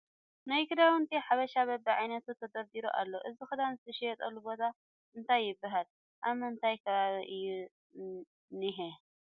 ናይ ክዳውንቲ ሓበሻ በቢ ዓይነቱ ተደርዲሩ ኣሎ እዚ ክዳን ዝሽየጠሉ ቦታ እንታይ ይበሃል ? ኣብ ምንታይ ከባቢ እዩ ዝኒሀ ?